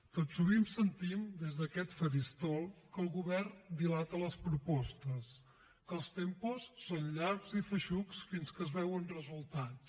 tot sovint sentim des d’aquest faristol que el govern dilata les propostes que els tempos són llargs i feixucs fins que es veuen resultats